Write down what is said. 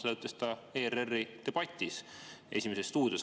Seda ütles ta ERR-i debatis "Esimeses stuudios".